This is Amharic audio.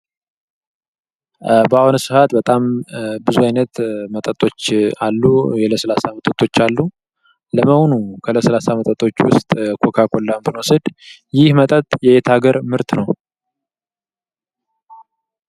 በአሁኑ ሰአት በጣም ብዙ አይነት መጠጦች አሉ። የለስላሳ መጠጦች አሉ። ለመሆኑ ከለስላሳ መጠጦች ውስጥ ኮካ ኮላን ብንወስድ ይህ መጠጥ የየት አገር ምርት ነው?